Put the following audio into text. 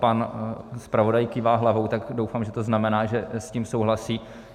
Pan zpravodaj kývá hlavou, tak doufám, že to znamená, že s tím souhlasí.